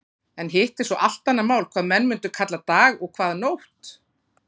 En hitt er svo allt annað mál hvað menn mundu kalla dag og hvað nótt.